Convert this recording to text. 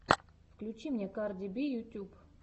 включи мне карди би ютьюб